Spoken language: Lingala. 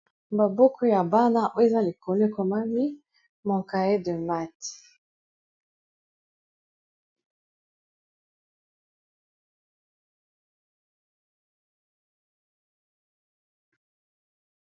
Babuku ya bana o eza likolo ekomami mokae de mate.